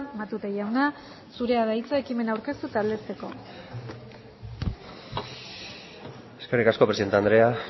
matute jauna zurea da hitza ekimena aurkeztu eta aldezteko eskerrik asko presidente andrea